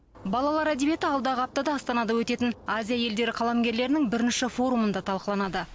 балалар әдебиеті алдағы аптада астанада өтетін азия елдері қаламгерлерінің бірінші форумында талқыланады